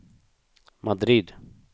Madrid